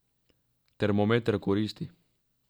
Termometer koristi.